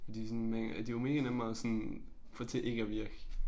De sådan de var mega nemme at sådan få til ikke at virke